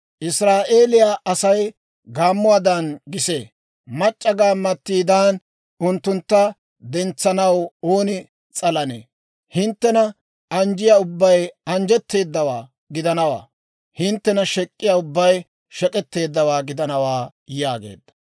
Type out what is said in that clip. Israa'eeliyaa Asay gaammuwaadan gisee. Mac'c'a gaammattidan unttuntta dentsanaw ooni s'alanee? Hinttena anjjiyaa ubbay anjjetteedawaa gidanawaa; hinttena shek'k'iyaa ubbay shek'etteeddawaa gidanawaa» yaageedda.